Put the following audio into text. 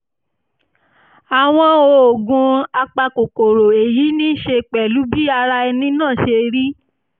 àwọn oògùn apakòkòrò èyí ní í ṣe pẹ̀lú bí ara ẹni náà ṣe rí